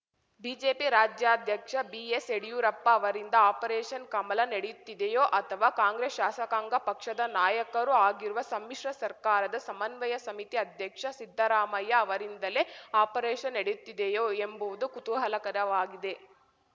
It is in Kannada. ಬಿಜೆಪಿ ರಾಜ್ಯಾಧ್ಯಕ್ಷ ಬಿಎಸ್‌ಯಡಿಯೂರಪ್ಪ ಅವರಿಂದ ಆಪರೇಷನ್‌ ಕಮಲ ನಡೆಯುತ್ತಿದೆಯೋ ಅಥವಾ ಕಾಂಗ್ರೆಸ್‌ ಶಾಸಕಾಂಗ ಪಕ್ಷದ ನಾಯಕರೂ ಆಗಿರುವ ಸಮ್ಮಿಶ್ರ ಸರ್ಕಾರದ ಸಮನ್ವಯ ಸಮಿತಿ ಅಧ್ಯಕ್ಷ ಸಿದ್ದರಾಮಯ್ಯ ಅವರಿಂದಲೇ ಆಪರೇಷನ್‌ ನಡೆಯುತ್ತಿದೆಯೋ ಎಂಬುವುದು ಕುತೂಹಲಕರವಾಗಿದೆ